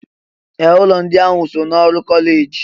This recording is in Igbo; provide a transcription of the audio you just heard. Ee! Ụlọ ndị ahụ so n'ọrụ kọleji.